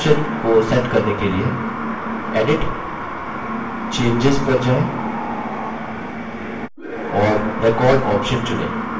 edit → changes पर जाएँ और record ऑप्शन चुनें